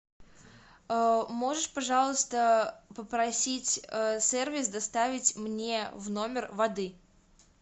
можешь пожалуйста попросить сервис доставить мне в номер воды